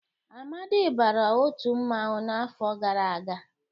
Amadị bara otu mmanwụ n'afọ gara aga.